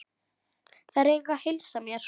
Þeir eiga að heilsa mér.